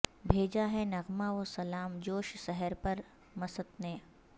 بھیجا ہے نغمہ و سلام جوش سحر پر مست نے